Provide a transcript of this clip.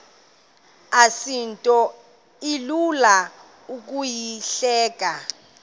asinto ilula ukuyihleba